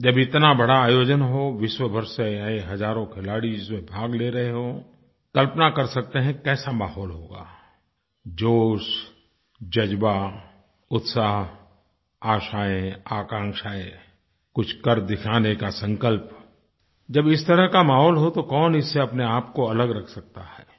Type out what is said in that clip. जब इतना बड़ा आयोजन हो विश्व भर से आये हज़ारों खिलाड़ी इसमें भाग ले रहे हों कल्पना कर सकतें हैं कैसा माहौल होगा जोश जज़्बा उत्साह आशाएँ आकांक्षाएँ कुछ कर दिखाने का संकल्प जब इस तरह का माहौल हो तो कौन इससे अपने आपको अलग रख सकता है